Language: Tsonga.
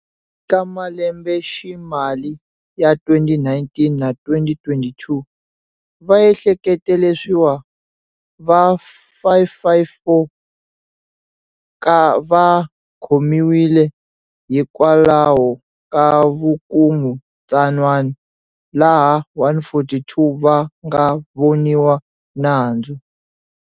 Ka malembeximali ya 2019 na 2022, vaehlekete leswiwa va 554 va khomiwile hikwalaho ka vukungundzwana, laha 142 va nga voniwa nandzu.